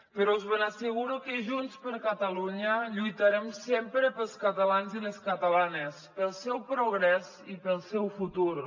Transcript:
però us ben asseguro que junts per catalunya lluitarem sempre pels catalans i les catalanes pel seu progrés i pel seu futur